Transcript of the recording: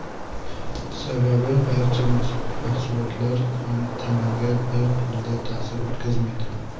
Sababi barcha mahsulotlar ham tanaga bir xilda ta’sir o‘tkazmaydi.